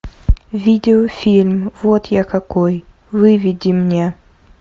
видео фильм вот я какой выведи мне